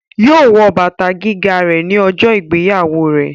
Yóò wọ bàtà gíga ní ọjọ́ ìgbéyàwó rẹ̀